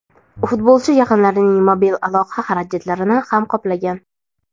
futbolchi yaqinlarining mobil aloqa xarajatlarini ham qoplagan.